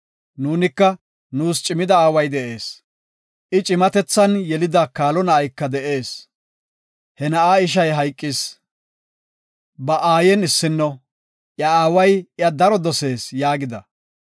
Nuunika, ‘Nuus cimida aaway de7ees. I cimatethan yelida kaalo na7ayka de7ees. He na7aa ishay hayqis, ba Aayen issino, iya aaway iya daro dosees’ yaagida.